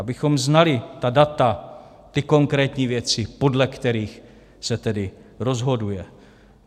Abychom znali ta data, ty konkrétní věci, podle kterých se tedy rozhoduje.